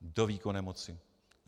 Do výkonné moci.